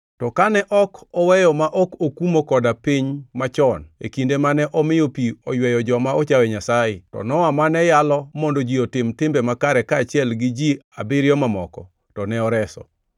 to kane ok oweyo ma ok okumo koda ka piny machon, e kinde mane omiyo pi oyweyo joma ochayo Nyasaye, to Nowa mane yalo mondo ji otim timbe makare kaachiel gi ji abiriyo mamoko, to ne oreso;